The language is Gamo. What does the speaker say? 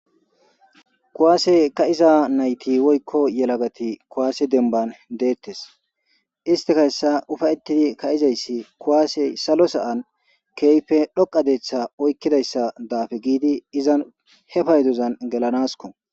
kuwaase ka'iza nayti woykko yelagati kuwaase demban deettes istika hessa ufayettidi ka7izayssi kuwaase salo sa7an keyfe dhoqa deeththa oykkidayssa daafe giidi izan he paydozan gelanasko